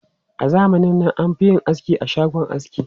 A zamanin nan, an fi yin aski a shagon aski.